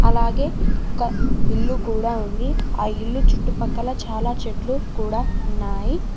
అలాగే ఒక ఇల్లు కూడా ఉంది ఆ ఇల్లు చుట్టుపక్కల చాలా చెట్లు కూడా ఉన్నాయి